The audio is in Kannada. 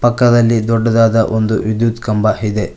ಪಕ್ಕದಲ್ಲಿ ಒಂದು ದೊಡ್ಡದಾದ ವಿದ್ಯುತ್ ಕಂಬ ಇದೆ.